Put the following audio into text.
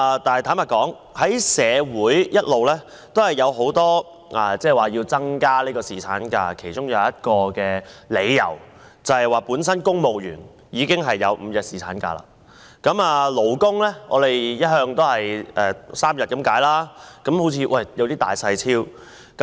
但是，坦白說，社會一直有很多要求增加侍產假的理由，其中一點是公務員本身已經擁有5日侍產假，勞工只有3日，好像有點兒不公平。